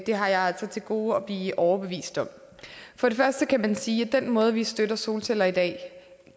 har jeg altså til gode at blive overbevist om for det første kan man sige at den måde vi støtter solceller på i dag altså